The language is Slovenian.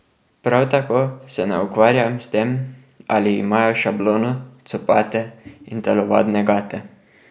Prav tako se ne ukvarjam s tem, ali imajo šablono, copate in telovadne gate.